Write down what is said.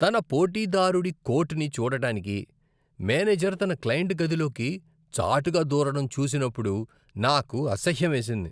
తన పోటీదారుడి కోటుని చూడటానికి మేనేజర్ తన క్లయింట్ గదిలోకి చాటుగా దూరటం చూసినప్పుడు నాకు అసహ్యమేసింది.